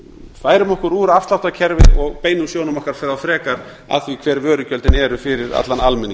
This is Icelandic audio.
færum okkur úr afsláttarkerfi og beinum sjónum okkar frekar að því hver vörugjöldin eru fyrir allan almenning